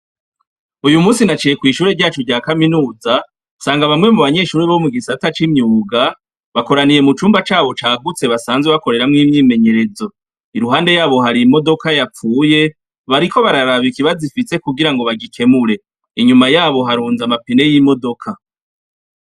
Uyu musi naciye kw'ishure ryacu rya kaminuza nsanga bamwe mu banyeshuri bo mu gisata c'imyuga bakoraniye mu cumba cabo cagutse basanzwe bakoreramwo imyimenyerezo, iruhande yabo hari imodoka yapfuye bariko bararabikibazifise kugira ngo bagikemure ,inyuma yabo harunza amapine y'imodoka.